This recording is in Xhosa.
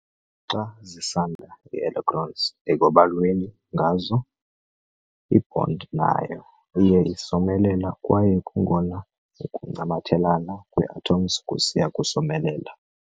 Xa zisanda ii-electrons ekwabalweni ngazo, i-bond nayo iya isomelela kwaye kungona ukuncamathelana kwee-atoms kusiya kusomelela.